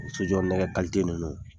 So jɔ nɛgɛ kalite ninnu